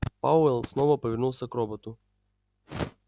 пауэлл снова повернулся к роботу